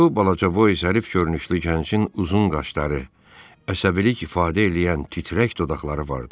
Bu balaca Boyçəhərif görünüşlü gəncin uzun qaşları, əsəbilik ifadə eləyən titrək dodaqları vardı.